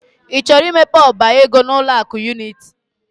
I chọrọ imepe ọba ego n'ụlọ akụ Unity?